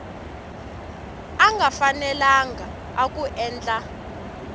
a nga fanelanga ku endla